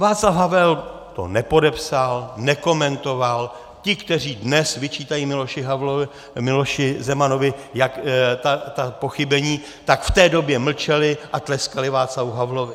Václav Havel to nepodepsal, nekomentoval, ti, kteří dnes vyčítají Miloši Zemanovi ta pochybení, tak v té době mlčeli a tleskali Václavu Havlovi.